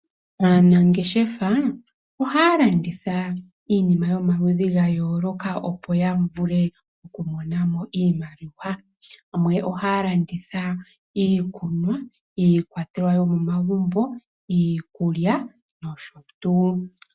Aanangeshefa ohaya landitha iinima yomaludhi gayooloka opo yamone mo iimaliwa. Yamwe ohaya landitha iikunwa, iikwatelwa yomomagumbo, iikulya noshotuu.